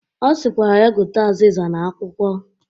Ọ sịkwara ya gote azịza na akwụkwọ